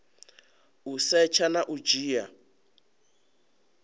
u setsha na u dzhia